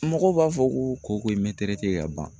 Mɔgɔw b'a fɔ koko in me ka ban